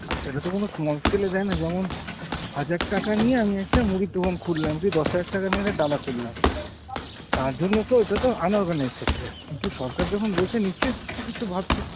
আর সেটা তো কোনো small scale এ দেয়না, যেমন হাজার টাকা নিয়ে আমি একটা মুড়ির দোকান খুললাম, কী দশ হাজার টাকা নিয়ে একটা ডালা খুললাম, তার জন্য তো এটা তো unorganized sector। কিন্তু সরকার যখন বলছে নিশ্চই কিছু ভাবছে।